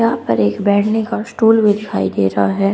यहां पर एक बैठने का स्टूल भी दिखाई दे रहा है।